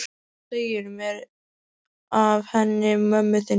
Hvað segirðu mér af henni mömmu þinni?